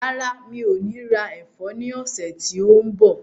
Rárá, mi ò ní ra ẹ̀fọ́ ní ọ̀sẹ̀ tí ó ń bọ̀.